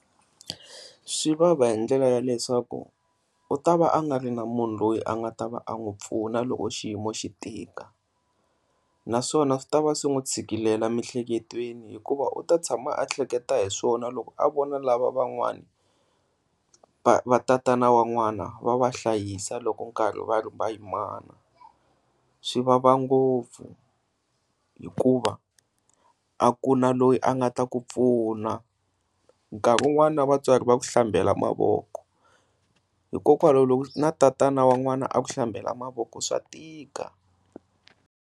Swivava hi ndlela ya leswaku u ta va a nga ri na munhu loyi a nga ta va a n'wi pfuna loko xiyimo xi tika, naswona swi ta va swi n'wi tshikilele mihleketweni hikuva u ta tshama a hleketa hi swona loko a vona lava van'wana va va tatana wan'wana va vahlayisa loko nkarhi va ri va yimana. Swi vava ngopfu hikuva a ku na loyi a nga ta ku pfuna nkarhi un'wana na vatswari vanhu va ku hlambela mavoko hikokwalaho na tatana wan'wana a ku hlambela mavoko swa tika.